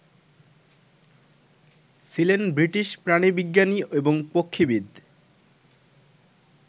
ছিলেন বৃটিশ প্রাণীবিজ্ঞানী এবং পক্ষীবিদ